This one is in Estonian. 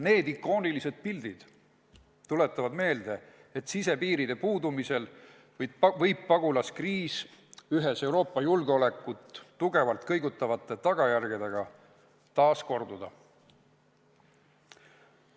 Need ikoonilised pildid tuletavad meelde, et sisepiiride puudumisel võib pagulaskriis oma Euroopa julgeolekut tugevalt kõigutavate tagajärgedega taas korduda.